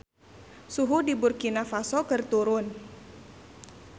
Suhu di Burkina Faso keur turun